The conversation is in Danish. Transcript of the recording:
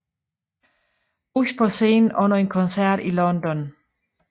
Bush på scenen under en koncert i London